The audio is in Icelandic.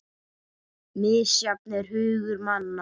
Misjafn er hugur manna